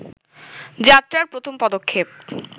যাত্রার প্রথম পদক্ষেপ